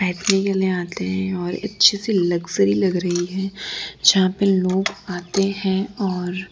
आते हैं और अच्छे से लक्जरी लग रही है जहां पे लोग आते हैं और--